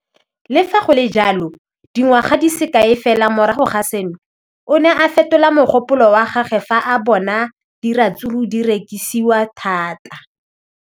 Le fa go le jalo, dingwaga di se kae fela morago ga seno, o ne a fetola mogopolo wa gagwe fa a bona gore diratsuru di rekisiwa thata.